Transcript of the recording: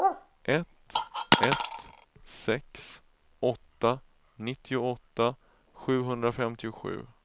ett ett sex åtta nittioåtta sjuhundrafemtiosju